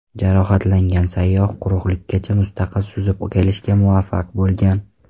Jarohatlangan sayyoh quruqlikkacha mustaqil suzib kelishga muvaffaq bo‘lgan.